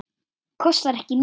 Kostar ekki mikið.